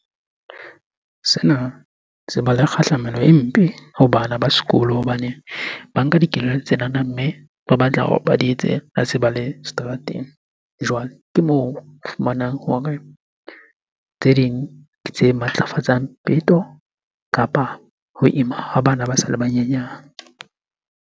Sena se ba le kgahlamelo e mpe ho bana ba sekolo hobane ba nka dikelello tsenana. Mme ba batla hore ba di etse ha se ba le seterateng. Jwale ke moo o fumanang hore tse ding ke tse matlafatsang peto kapa ho ima ha bana ba sa le banyenyane.